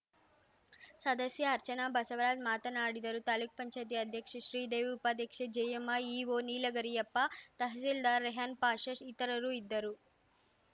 ಸದಸ್ಯೆ ಅರ್ಚನಾ ಬಸವರಾಜ್‌ ಮಾತನಾಡಿದರು ತಾಲೂಕು ಪಂಚಾಯ್ತಿ ಅಧ್ಯಕ್ಷೆ ಶ್ರೀದೇವಿ ಉಪಾಧ್ಯಕ್ಷೆ ಜಯ್ಯಮ್ಮ ಇಒ ನೀಲಗರಿಯಪ್ಪ ತಹಸೀಲ್ದಾರ್‌ ರೆಹನ್‌ ಪಾಷಾ ಇತರರು ಇದ್ದರು